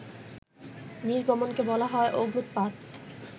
নির্গমনকে বলা হয় অগ্ন্যুতপাত